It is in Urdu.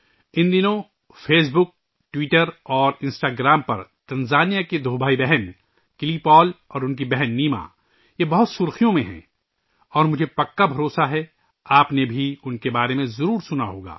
ان دنوں تنزانیہ کے دو بہن بھائی کلی پال اور ان کی بہن نیما فیس بک، ٹویٹر اور انسٹاگرام پر کافی خبروں میں ہیں اور مجھے پورا یقین ہے کہ آپ نے بھی ان کے بارے میں ضرور سنا ہوگا